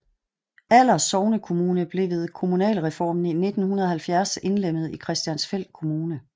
Aller sognekommune blev ved kommunalreformen i 1970 indlemmet i Christiansfeld Kommune